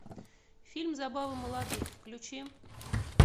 фильм забавы молодых включи